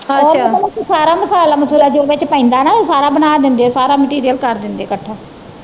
ਉਹ ਪਤਾ ਕੀ ਸਾਰਾ ਮਸਾਲਾ ਮਸੂਲਾ ਜੋ ਵਿਚ ਪੈਂਦਾ ਨਾ ਸਾਰਾ ਬਣਾ ਦਿੰਦੇ ਸਾਰਾ ਮਟੀਰੀਅਲ ਕਰ ਦਿੰਦੇ ਇਕੱਠਾ।